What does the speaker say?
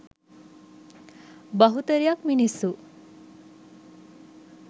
බහුතරයක් මිනිස්සු